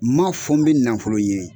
M'a fɔ n bɛ nafolo ɲini